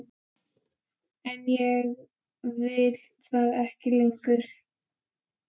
En ég vil það ekki lengur.